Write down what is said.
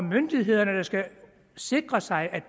myndigheder der skal sikre sig